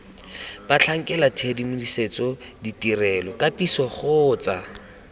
batlhankela tshedimosetso ditirelo katiso kgotsa